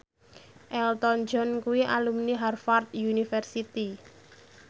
Elton John kuwi alumni Harvard university